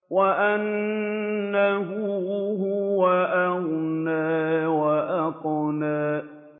وَأَنَّهُ هُوَ أَغْنَىٰ وَأَقْنَىٰ